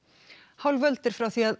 hálf öld er frá því